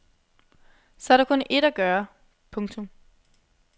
Så er der kun ét at gøre. punktum